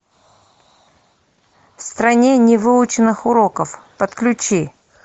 в стране невыученных уроков подключи